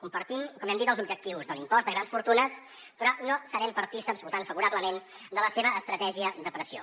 compartim com hem dit els objectius de l’impost de grans fortunes però no serem partícips votant favorablement de la seva estratègia de pressió